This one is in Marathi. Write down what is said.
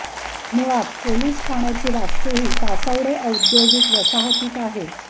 मुळात पोलीस ठाण्याची वास्तू ही तासवडे औद्योगिक वसाहतीत आहे